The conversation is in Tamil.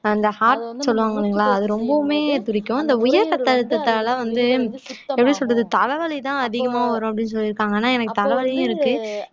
அந்த heart சொல்லுவாங்க இல்லைங்களா அது ரொம்பவுமே துடிக்கும் இந்த உயர் இரத்த அழுத்தத்தால வந்து எப்படி சொல்றது தலை வலிதான் அதிகமா வரும் அப்படின்னு சொல்லிருக்காங்க ஆனா எனக்கு தலைவலியும் இருக்கு